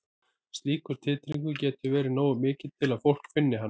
Slíkur titringur getur verið nógu mikill til að fólk finni hann.